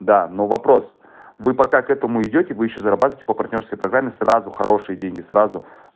да но вопрос вы пока к этому идёте вы ещё зарабатываете по партнёрской программе сразу хорошие деньги сразу